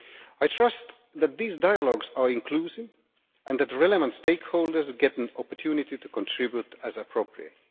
I trust that these dialogues will be inclusive and that the relevant stakeholders get an opportunity to contribute as appropriate.